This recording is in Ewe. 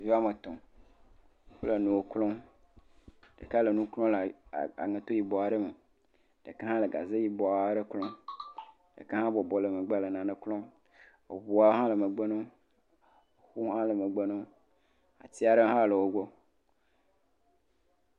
Ɖevi woame tɔ̃. Wole nuwo klɔm. Ɖeka le nu klɔm le aŋɛto yibɔ aɖe me. Ɖeka hã le gaze yibɔ aɖe klɔm. Ɖeka hã bɔbɔ nɔ megbe le nane klɔm. eŋua hã le megbe na wo. Wo hã le megbe na wo. Ati aɖe hã le wogbɔ.